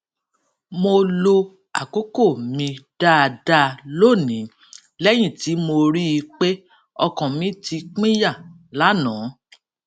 mo lo àkókò mi dáadáa lónìí léyìn tí mo rí i pé ọkàn mi ti pínyà lánàá